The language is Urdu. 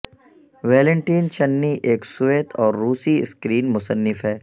ویلنٹین چننی ایک سوویت اور روسی اسکرین مصنف ہے